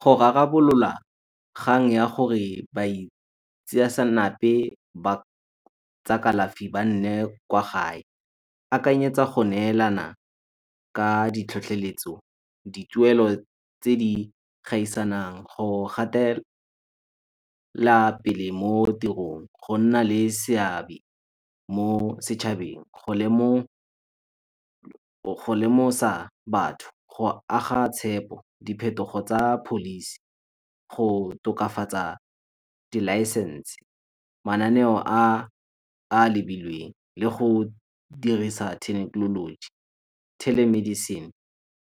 Go rarabolola kgang ya gore ba tsa kalafi ba nne kwa gae. Akanyetsa go neelana ka ditlhotlheletso, dituelo tse di gaisanang go gatela pele mo tirong. Go nna le seabe mo setšhabeng, go lemosa batho, go aga tshepo, diphetogo tsa policy, go tokafatsa dilaesense. Mananeo a a lebilweng le go dirisa thekenoloji, telemedicine